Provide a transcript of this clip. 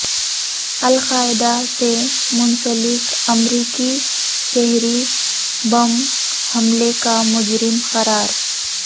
القاعدہ سے منسلک امریکی شہری بم حملے کا مجرم قرار